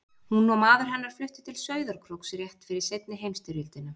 Hún og maður hennar fluttu til Sauðárkróks rétt fyrir seinni heimsstyrjöldina.